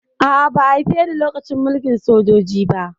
A'a, ba haife ni lokacin mulkin sojoji ba